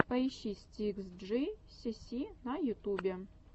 поищи стикс джи си си на ютубе